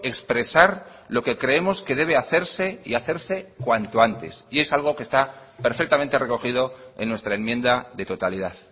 expresar lo que creemos que debe hacerse y hacerse cuanto antes y es algo que está perfectamente recogido en nuestra enmienda de totalidad